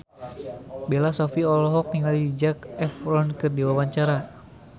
Bella Shofie olohok ningali Zac Efron keur diwawancara